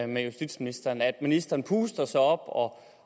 med justitsministeren nemlig at ministeren puster sig op og